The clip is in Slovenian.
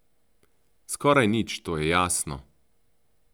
Skoraj nič, to je jasno.